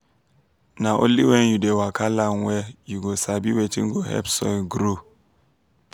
na only when you dey waka land well you go sabi wetin go help soil grow.